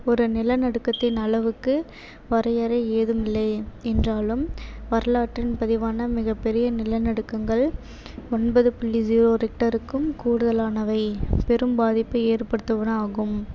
ஒரு நிலநடுக்கத்தின் அளவுக்கு வரையறை ஏதுமில்லை என்றாலும் வரலாற்றில் பதிவான மிகப்பெரிய நிலநடுக்கங்கள் ஒன்பது புள்ளி zero richter க்கும் கூடுதலானவை பெரும் பாதிப்பை ஏற்படுத்துவன ஆகும்.